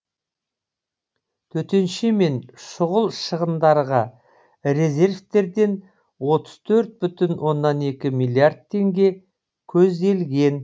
төтенше мен шұғыл шығындарға резервтерден отыз төрт бүтін оннан екі миллиард теңге көзделген